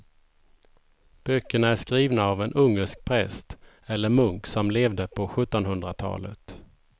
Böckerna är skrivna av en ungersk präst eller munk som levde på sjuttonhundratalet.